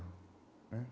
Não é?